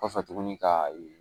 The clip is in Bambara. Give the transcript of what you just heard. Kɔfɛ tuguni ka